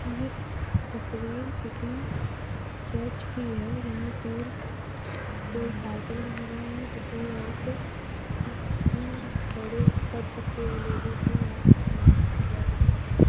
यह तस्वीर किसी चर्च की है यहां पर कोई कार्यक्रम हो रहा है जिसमें आप किसी बड़े पद के लोगों को आप सम्मानित कर रहे हैं।